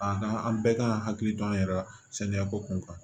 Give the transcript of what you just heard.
A ka an bɛɛ kan ka hakili to an yɛrɛ la sanuyako kun kan